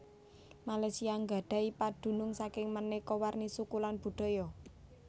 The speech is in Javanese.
Malaysia nggadhahi padunung saking maneka warni suku lan budaya